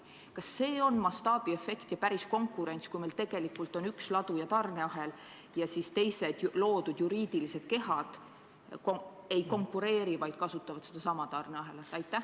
Kas see on mastaabiefekt ja päris konkurents, kui meil tegelikult on üks ladu ja üks tarneahel ning teised loodud juriidilised kehad mitte ei konkureeri, vaid kasutavad sedasama tarneahelat?